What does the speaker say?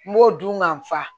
N b'o dun ŋa fa